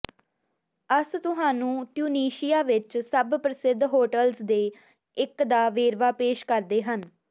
ਅਸ ਤੁਹਾਨੂੰ ਟਿਊਨੀਸ਼ੀਆ ਵਿੱਚ ਸਭ ਪ੍ਰਸਿੱਧ ਹੋਟਲਜ਼ ਦੇ ਇੱਕ ਦਾ ਵੇਰਵਾ ਪੇਸ਼ ਕਰਦੇ ਹਨ